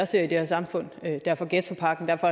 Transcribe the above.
ser i det her samfund derfor ghettopakken derfor